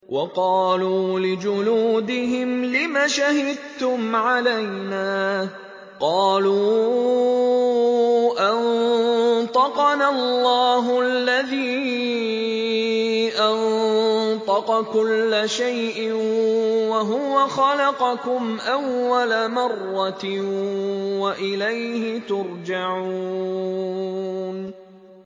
وَقَالُوا لِجُلُودِهِمْ لِمَ شَهِدتُّمْ عَلَيْنَا ۖ قَالُوا أَنطَقَنَا اللَّهُ الَّذِي أَنطَقَ كُلَّ شَيْءٍ وَهُوَ خَلَقَكُمْ أَوَّلَ مَرَّةٍ وَإِلَيْهِ تُرْجَعُونَ